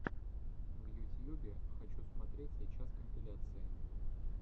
в ютьюбе хочу смотреть сейчас компиляции